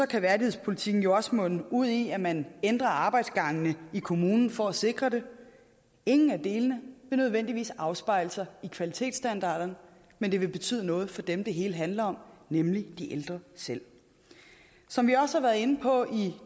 kan værdighedspolitikken jo også munde ud i at man ændrer arbejdsgangene i kommunen for at sikre det ingen af delene vil nødvendigvis afspejle sig i kvalitetsstandarderne men det vil betyde noget for dem det hele handler om nemlig de ældre selv som vi også har været inde på i